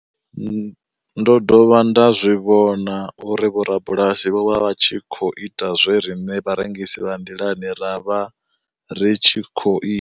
Ndo dovha nda zwi vhona uri vhorabulasi vho vha vha tshi khou ita zwe riṋe vharengisi vha nḓilani ra vha ri tshi khou i.